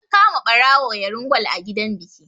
An kama ɓarawo yarin kwal a gidan biki